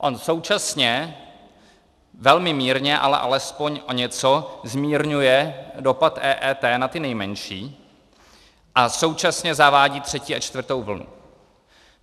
On současně velmi mírně, ale alespoň o něco zmírňuje dopad EET na ty nejmenší a současně zavádí třetí a čtvrtou vlnu.